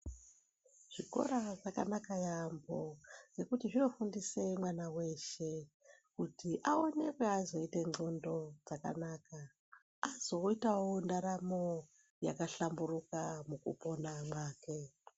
Zvikora zvakanaka yaambo ngekuti zvinofundise mwana weshe kuti aonekwe azoite n'condo dzakaka .Azoitawo ndaramo yakahlamburuka mwukupona mwake .